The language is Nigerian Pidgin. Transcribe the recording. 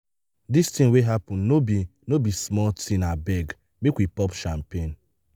dis thing wey happen no be no be small thingabeg make we pop champagne.